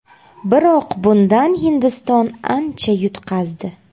Biroq bundan Hindiston ancha yutqazdi.